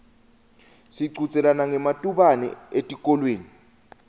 sichudzelana ngematubane etikolweni